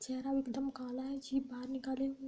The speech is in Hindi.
चेहरा एकदम काला है। जीभ बाहर निकाली हुई --